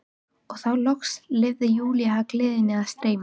Og þá loks leyfði Júlía gleðinni að streyma.